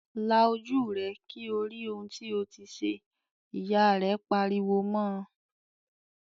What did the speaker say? "La ojú rẹ kí o rí ohun tí o ti ṣe!" Ìyá rẹ̀ pariwo mọ́ ọ